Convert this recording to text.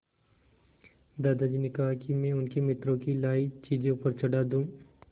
दादाजी ने कहा कि मैं उनके मित्रों की लाई चीज़ें ऊपर चढ़ा दूँ